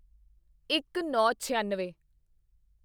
ਇੱਕਨੌਂਛਿਆਨਵੇਂ